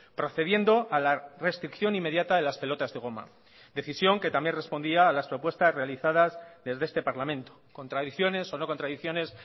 procediendo a la restricción inmediata de las pelotas de goma decisión que también respondía a las propuestas realizadas desde este parlamento contradicciones o no contradicciones